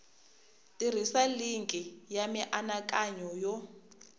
tirhisa linki ya mianakanyo yo